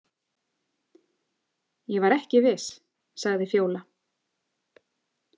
Ég var ekki viss, sagði Fjóla.